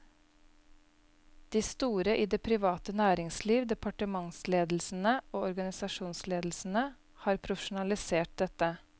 De store i det private næringsliv, departementsledelsene og organisasjonsledelsene har profesjonalisert dette.